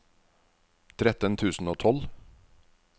tretten tusen og tolv